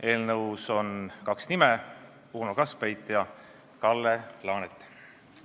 Eelnõus on kaks nime: Uno Kaskpeit ja Kalle Laanet.